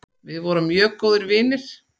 Við vorum mjög góðir vinir.